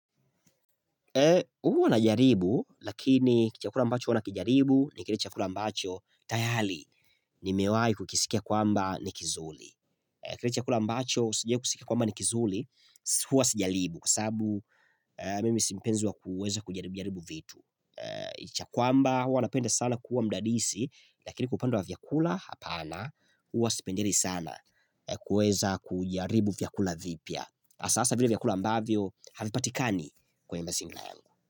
Huwanajaribu lakini chakula mbacho huwa na kijaribu ni kile chakula mbacho tayari ni mewai kukisikia kwamba ni kizuri. Kile chakula ambacho sijawai kusikia kwamba nikizuri hua sijaribu kwa sabu mimi simpenzi wa kuweza kujaribu jaribu vitu. Licha ya kwamba huwa napenda sana kuwa mdadisi lakini kwa upande wa vyakula hapana huwa sipendelei sana kuweza kujaribu vyakula vipya. Asasa vile vyakula ambavyo havipatikani kwenye mazingira yangu.